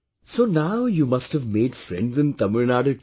So now you must have made friends in Tamil Nadu too